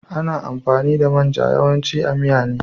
Ana amfani da main ja yawanci a miya ne.